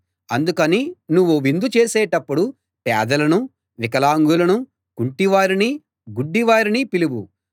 అందుకని నువ్వు విందు చేసినప్పుడు పేదలనూ వికలాంగులనూ కుంటివారినీ గుడ్డివారినీ పిలువు